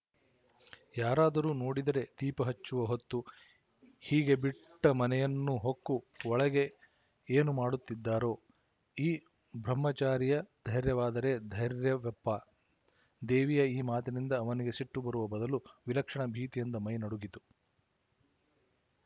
ಯಾರಾದರೂ ನೋಡಿದರೆ ದೀಪ ಹಚ್ಚುವ ಹೊತ್ತು ಹೀಗೆ ಬಿಟ್ಟ ಮನೆಯನ್ನು ಹೊಕ್ಕು ಒಳಗೆ ಏನು ಮಾಡುತ್ತಿದ್ದಾರೋ ಈ ಬ್ರಹ್ಮಚಾರಿಯ ಧೈರ್ಯವಾದರೆ ಧೈರ್ಯವಪ್ಪಾ ದೇವಿಯ ಈ ಮಾತಿನಿಂದ ಅವನಿಗೆ ಸಿಟ್ಟುಬರುವ ಬದಲು ವಿಲಕ್ಷಣ ಭೀತಿಯಿಂದ ಮೈ ನಡುಗಿತು